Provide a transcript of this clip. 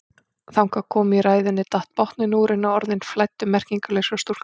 Þangað komin í ræðunni datt botninn úr henni og orðin flæddu merkingarlaus frá stúlkunni.